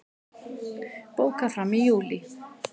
Bókað fram í júlí